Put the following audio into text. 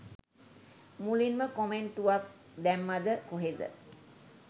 මුලින්ම කොමෙන්ටුවක් දැම්මමද කොහෙද.